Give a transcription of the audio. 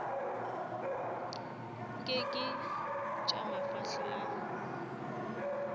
nke ke tša mafahla a